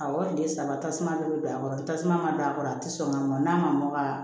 Awɔ o de ye saba tasuma dɔ bɛ don a kɔrɔ ni tasuma ma don a kɔrɔ a tɛ sɔn ka mɔn n'a ma mɔ ka